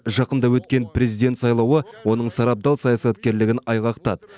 жақында өткен президент сайлауы оның сарабдал саясаткерлігін айғақтады